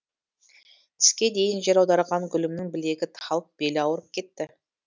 түске дейін жер аударған гүлімнің білегі талып белі ауырып кетті